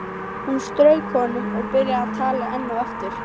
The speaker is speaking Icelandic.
Hún strauk honum og byrjaði að tala enn og aftur.